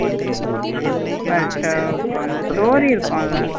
But கொஞ்சம் story இருக்குல.